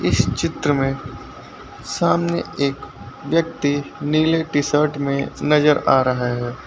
इस चित्र में सामने एक व्यक्ति नीले टी शर्ट में नजर आ रहा है।